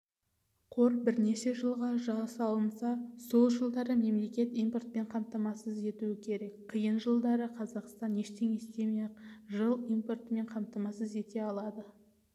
қор бірнеше жылға жасалынса сол жылдары мемлекет импортпен қамтамасыз етуі керек қиын жылдары қазақстан ештеңе істемей-ақ жыл импортпен қамтамасыз ете алады